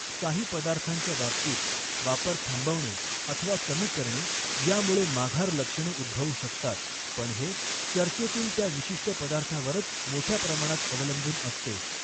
काही पदार्थांच्या बाबतीत, वापर थांबवणे अथवा कमी करणे यामुळे माघार लक्षणे उद्भवू शकतात, पण हे चर्चेतील त्या विशिष्ट पदार्थावरच मोठ्या प्रमाणात अवलंबून असते.